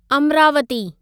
Amravati